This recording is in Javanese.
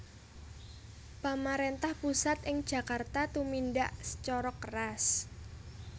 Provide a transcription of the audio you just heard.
Pamaréntah pusat ing Djakarta tumindhak sacara keras